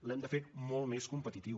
l’hem de fer molt més competitiu